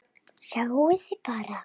Sjáiði bara!